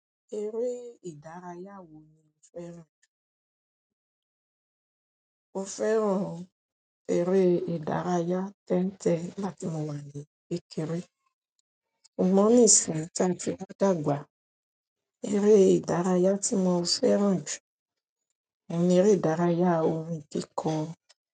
Eré ìdárayá wo ni o fẹ́ràn jù? Mo fẹ́ràn eré ìdárayá tẹ́ń-tẹn nigbáti mowà ní kékeré. A mọ̀ ní ìsinyi tí a ti wa dàgbà. Eré ìdárayá tí mo fẹ́ràn jù ni eré ìdárayá orin tí kọ.